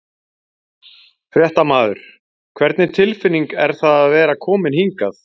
Fréttamaður: Hvernig tilfinning er það að vera komin hingað?